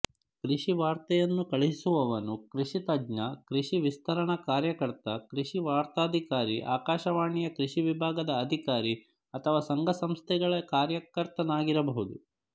ಕೃಷಿವಾರ್ತೆಯನ್ನು ಕಳುಹಿಸುವವನು ಕೃಷಿತಜ್ಞ ಕೃಷಿವಿಸ್ತರಣ ಕಾರ್ಯಕರ್ತ ಕೃಷಿವಾರ್ತಾಧಿಕಾರಿ ಆಕಾಶವಾಣಿಯ ಕೃಷಿ ವಿಭಾಗದ ಅಧಿಕಾರಿ ಅಥವಾ ಸಂಘಸಂಸ್ಥೆಗಳ ಕಾರ್ಯಕರ್ತನಾಗಿರಬಹುದು